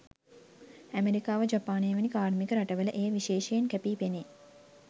ඇමෙරිකාව ජපානය වැනි කාර්මික රටවල එය විශේෂයෙන් කැපී පෙනේ.